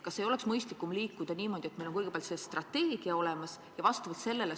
Kas ei ole mõistlikum liikuda edasi niimoodi, et meil on kõigepealt see strateegia olemas ja vastavalt sellele ...